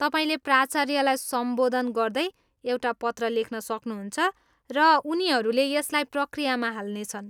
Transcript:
तपाईँले प्राचार्यलाई सम्बोधन गर्दै एउटा पत्र लेख्न सक्नुहुन्छ, र उनीहरूले यसलाई प्रक्रियामा हाल्नेछन्।